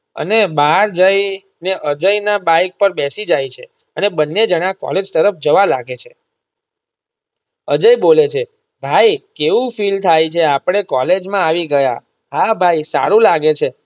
અને બહાર જઈને અજય ના bike પર બેસી જાય છે અને બંને જણા કૉલેજ તરફ જવા લાગે છે અજય બોલે છે ભાઈ કેવું feel થાય છે આપડે કૉલેજ માં આવી ગયા હા ભાઈ સારું લાગે છે.